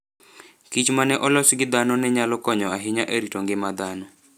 kichma ne olos gi dhano ne nyalo konyo ahinya e rito ngima dhano.